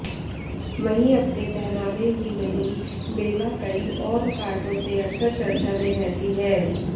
वहीं अपने पहनावे ही नहीं बेला कई और कारणों से अकसर चर्चा में रहती हैं